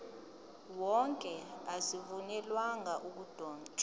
wonke azivunyelwanga ukudotshwa